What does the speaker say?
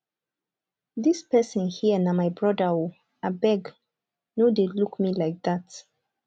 dis person here na my brother ooo abeg no dey look me like dat.